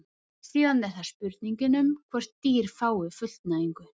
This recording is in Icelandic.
Síðan er það spurningin um hvort dýr fái fullnægingu.